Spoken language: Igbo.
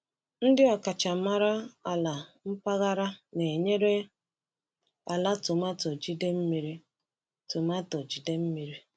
Ndị ọkachamara ala mpaghara na-enyere ala tomato jide mmiri. tomato jide mmiri.